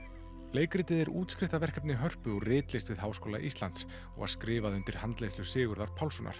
leikritið er Hörpu úr ritlist við Háskóla Íslands og skrifað undir handleiðslu Sigurðar Pálssonar